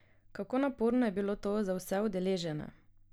Kako naporno je bilo to za vse udeležene?